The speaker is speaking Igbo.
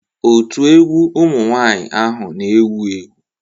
Otu egwu ụmụ nwanyị ahụ n'ewu ewu